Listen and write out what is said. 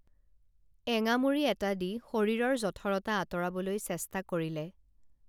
এঙামুৰি এটা দি শৰীৰৰ জঠৰতা আঁতৰাবলৈ চেষ্টা কৰিলে